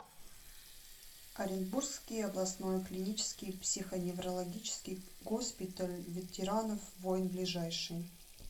оренбургский областной клинический психоневрологический госпиталь ветеранов войн ближайший